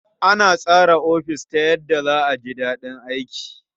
Ana tsara ofis ta yadda za a ji daɗin aiki.